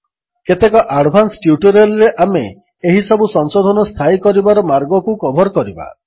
କେତେକ ଆଡ୍ଭାନ୍ସ ଟ୍ୟୁଟୋରିଆଲ୍ରେ ଆମେ ଏହିସବୁ ସଂଶୋଧନ ସ୍ଥାୟୀ କରିବାର ମାର୍ଗକୁ କଭର୍ କରିବା